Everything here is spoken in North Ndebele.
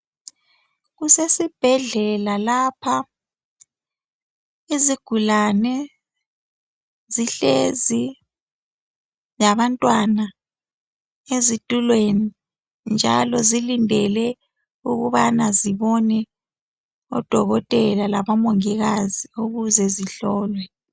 Kusesibhedlela lapha izigulani zihlezi labantwana ezitulweni njalo zilindele ukubana zibone odokotela labomongikazi ukuze zihlolwe.